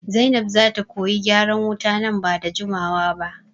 Zainab zata koyi gyaran wuta nan bada jimawa ba